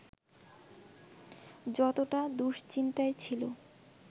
যতটা দুশ্চিন্তায় ছিল